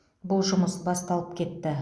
бұл жұмыс басталып кетті